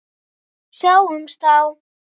Sjáumst þá!